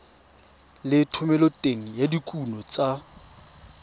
le thomeloteng ya dikuno tsa